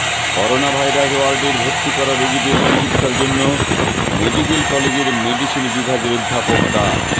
corona virus ওয়ার্ডের ভর্তি করা রোগীদের চিকিৎসার জন্য মেডিক্যাল কলেজের মেডিসিন বিভাগের অধ্যাপক ডা